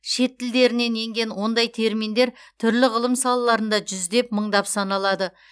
шет тілдерінен енген ондай терминдер түрлі ғылым салаларында жүздеп мыңдап саналады